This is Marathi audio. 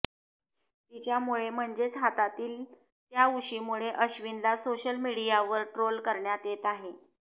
तिच्यामुळे म्हणजेच हातातील त्या उशीमुळे अश्विनला सोशल मीडियावर ट्रोल करण्यात येत आहे